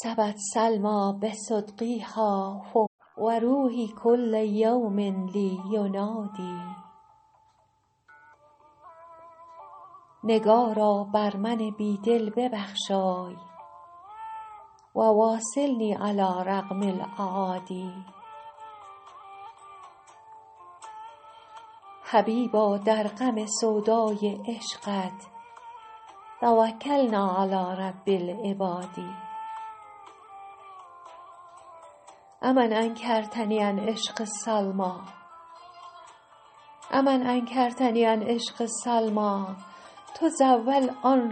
سبت سلمیٰ بصدغیها فؤادي و روحي کل یوم لي ینادی نگارا بر من بی دل ببخشای و واصلني علی رغم الأعادي حبیبا در غم سودای عشقت توکلنا علی رب العباد أ من انکرتني عن عشق سلمیٰ تزاول آن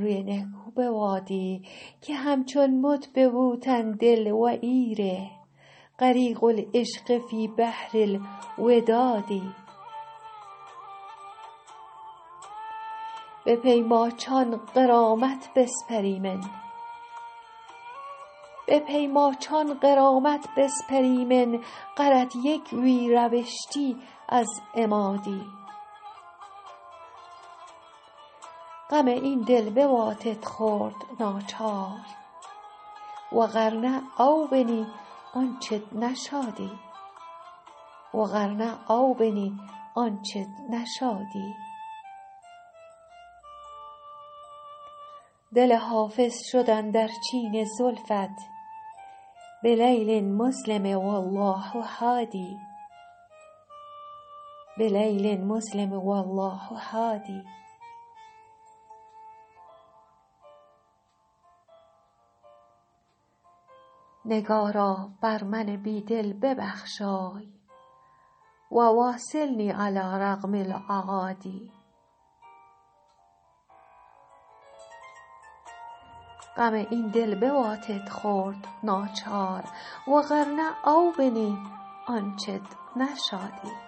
روی نهکو بوادی که همچون مت به بوتن دل و ای ره غریق العشق فی بحر الوداد به پی ماچان غرامت بسپریمن غرت یک وی روشتی از اما دی غم این دل بواتت خورد ناچار و غر نه او بنی آنچت نشادی دل حافظ شد اندر چین زلفت بلیل مظلم و الله هادی